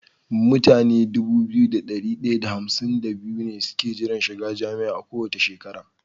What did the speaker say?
Mutane Dubu biyu da dari daya da hamsin da biyu ne suke jiran shiga jami'a kowace shekara